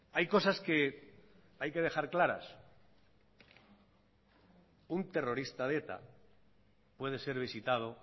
hay cosas que hay que dejar claras un terrorista de eta puede ser visitado